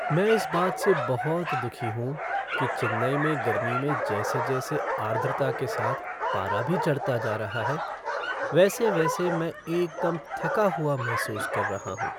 मैं इस बात से बहुत दुखी हूँ कि चेन्नई में गर्मी में जैसे जैसे आर्द्रता के साथ पारा भी चढ़ता जा रहा है, वैसे वैसे मैं एकदम थका हुआ महसूस कर रहा हूं।